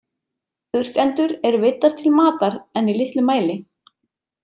Urtendur eru veiddar til matar en í litlu mæli.